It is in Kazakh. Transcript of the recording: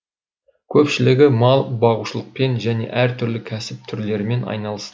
көпшілігі мал бағушылықпен және әртүрлі кәсіп түрлерімен айналысты